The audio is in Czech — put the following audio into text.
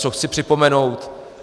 Co chci připomenout.